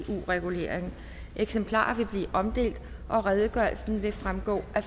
regulering eksemplarer vil blive omdelt og redegørelsen vil fremgå af